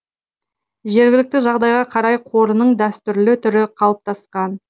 жергілікті жағдайға қарай қорының дәстүрлі түрі қалыптасқан